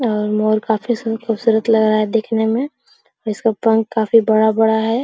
और मोर काफी सु खूबसूरत लग रहा है देखने में इसका पंख काफी बड़ा-बड़ा है।